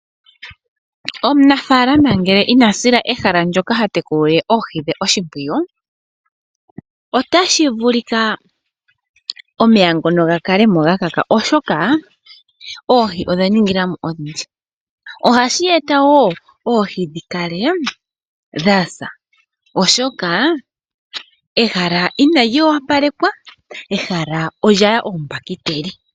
Omunafaalama ngele ina sila ehala ndyoka ha tekulile oohi dhe oshimpwiyu otashi vulika omeya ngono gakale mo gakaka oshoka oohi odha ninga mo odhindji. Ohashi eta wo oohi dhi kale dha sa oshoka ehala inali opalekwa, ehala olya ya oombakiteli.